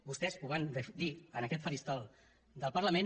vostès ho van dir en aquest faristol del parlament